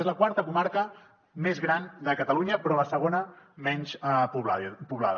és la quarta comarca més gran de catalunya però la segona menys poblada